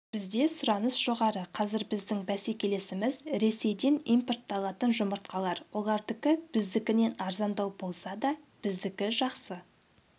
бізде сұраныс жоғары қазір біздің бәсекелесіміз ресейден импортталатын жұмыртқалар олардікі біздікінен арзандау болса да біздікі жақсы